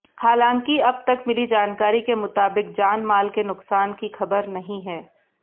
हलांकि अब तक मिली जानकारी के मुताबिक जानमाल के नुकसान की खबर नहीं है